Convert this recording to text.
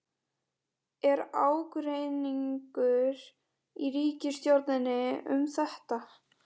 Er ágreiningur í ríkisstjórninni um þetta?